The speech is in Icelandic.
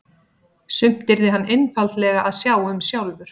Sumt yrði hann einfaldlega að sjá um sjálfur.